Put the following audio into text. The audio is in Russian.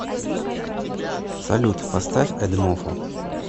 салют поставь эдмофо